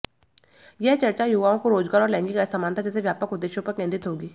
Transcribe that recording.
यह चर्चा युवाओं को रोजगार और लैंगिक असमानता जैसे व्यापक उद्देश्यों पर केंद्रित होगी